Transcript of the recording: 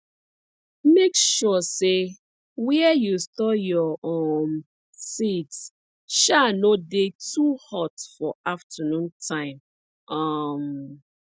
make sure say where you store your um seeds um no dey too hot for afternoon time um